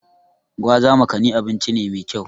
Gwaza/Makani abinci ne mai kyau.